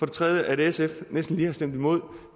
det tredje at sf næsten lige har stemt imod